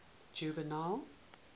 juvenal